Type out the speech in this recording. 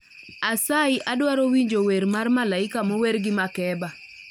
Asayi adwaro winjo wer mar malaika mower gi makeba